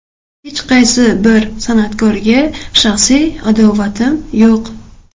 Hech qaysi bir san’atkorga shaxsiy adovatim yo‘q.